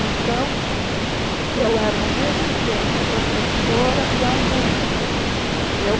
Então, eu era, ao mesmo tempo, professora e aluna.